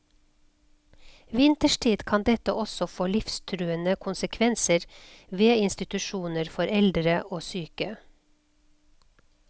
Vinterstid kan dette også få livstruende konsekvenser ved institusjoner for eldre og syke.